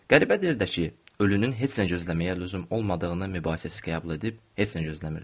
Qəribədir də ki, ölünün heç nə gözləməyə lüzum olmadığını mübahisəsiz qəbul edib heç nə gözləmirdim.